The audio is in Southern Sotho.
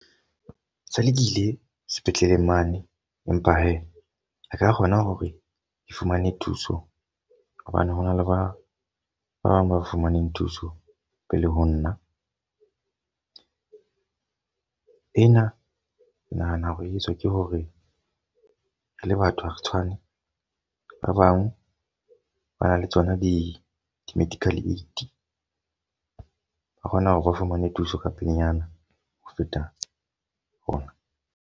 Motswalle ke ile sepetleleng mane. Empa he ha ka kgona hore ke fumane thuso. Hobane ho na le ba bang ba fumaneng thuso pele ho nna. E na ke nahana hore e etswa ke hore re le batho ha re tshwane. Ba bang ba na le tsona di di-medical aid. Ba kgona hore o fumane thuso ka pelenyana ho feta rona.